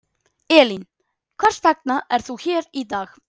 Elín: Hvers vegna er þú hér í dag?